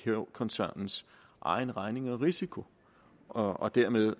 koncernens egen regning og risiko og og dermed